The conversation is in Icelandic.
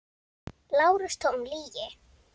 LÁRUS: Tóm lygi!